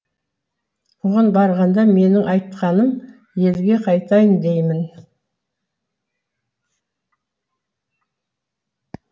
оған барғанда менің айтқаным елге қайтайын деймін